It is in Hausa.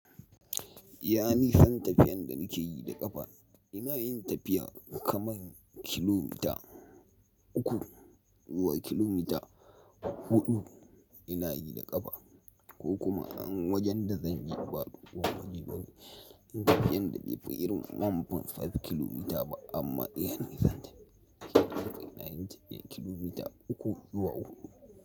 Ya nisan tafiyan da nake yi da ƙafa? Ina yin tafiya kaman kilomita uku zuwa kilomita huɗu ina yi da ƙafa ko kuma an wajen da zan je ba waje bane tafiyan da bai fi irin man fan five kilomita ba amma iya ni zan tafiya ina yin tafiyan kilomita uku zuwa huɗu.